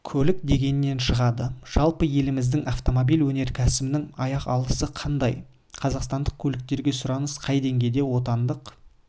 көлік дегеннен шығады жалпы еліміздің автомобиль өнеркәсібінің аяқ алысы қандай қазақстандық көліктерге сұраныс қай деңгейде отандық